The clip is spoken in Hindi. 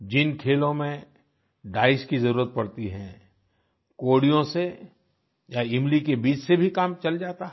जिन खेलों में डाइस की जरूरत पड़ती है कौड़ियों से या इमली के बीज से भी काम चल जाता है